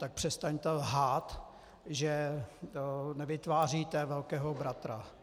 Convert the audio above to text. Tak přestaňte lhát, že nevytváříte velkého bratra.